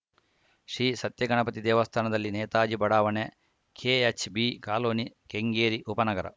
ಶ್ರೀ ಸತ್ಯಗಣಪತಿ ದೇವಸ್ಥಾನದಲ್ಲಿ ನೇತಾಜಿ ಬಡಾವಣೆ KHB colony Kengeri ಉಪನಗರ